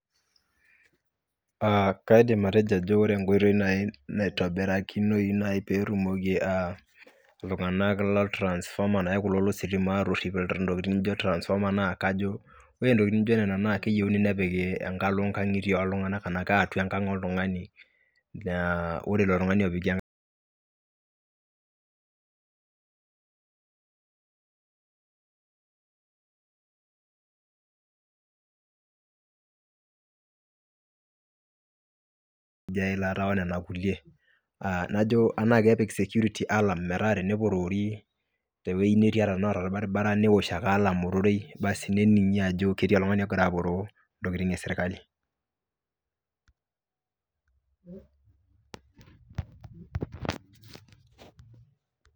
Kaidim atojo ajo ore nkoitoi nai naitobiraki nai peetumoki iltunganak le transformer naa kulo le sitima aatoshi ntokitin nidim ajo transformer naa kajo. Ore ntokitin naijo nena naa keyeuni nepiki enkalo nkang'itie oltunganak anaake atua enkang oltungani ijo aileta onena kulie, naa kepik security alarm mataa tenepoorori te wueji nitii ata tanaa irbaribara newuosh ake alarm ororoi basi nening'i ajo ketii oltungani ogira aporoo ntokitin esrikali.